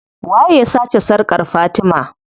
Waye ya sace sarkar fatima?